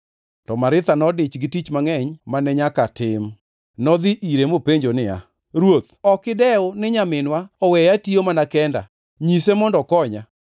To Maritha nodich gi tich mangʼeny mane nyaka tim. Nodhi ire mopenjo niya, “Ruoth, ok idewo ni nyaminwa oweya atiyo mana kenda nyise mondo okonya!”